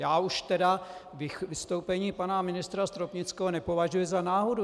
Já už tedy vystoupení pana ministra Stropnického nepovažuji za náhodu.